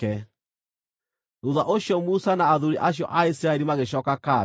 Thuutha ũcio Musa na athuuri acio a Isiraeli magĩcooka kambĩ.